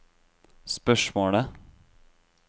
spørsmålet